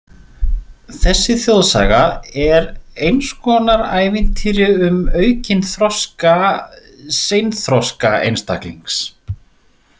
Þessi þjóðsaga er eins konar ævintýri um aukinn þroska seinþroska einstaklings .